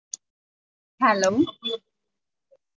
Hello